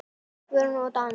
Guðrún og Daníel.